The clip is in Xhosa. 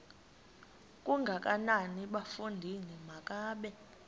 kangakanana bafondini makabe